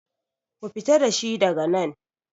Ku fita dashi daga nan!